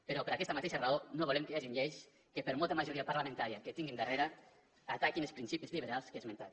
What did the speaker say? però per aquesta mateixa raó no volem que hi hagin lleis que per molta majoria parlamentària que tinguin darrere ataquin els principis liberals que he esmentat